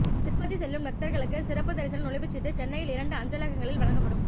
திருப்பதி செல்லும் பக்தர்களுக்கு சிறப்பு தரிசன நுழைவுச் சீட்டு சென்னையில் இரண்டு அஞ்சலகங்களில் வழங்கப்படும்